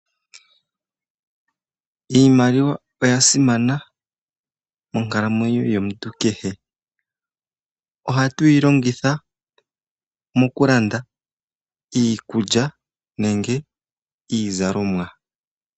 Iimaliwa oya simana monkalamenyo yomuntu kehe ohatuyi longitha moku landa iikulya nenge iizalomwa.